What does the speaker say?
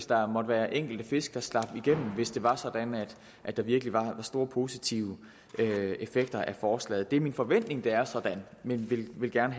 der måtte være enkelte fisk der slap igennem hvis det var sådan at der virkelig var store positive effekter af forslaget det er min forventning at det er sådan men vi vil gerne